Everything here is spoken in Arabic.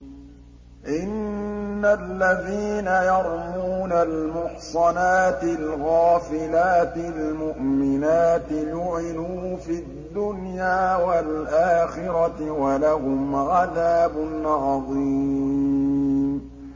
إِنَّ الَّذِينَ يَرْمُونَ الْمُحْصَنَاتِ الْغَافِلَاتِ الْمُؤْمِنَاتِ لُعِنُوا فِي الدُّنْيَا وَالْآخِرَةِ وَلَهُمْ عَذَابٌ عَظِيمٌ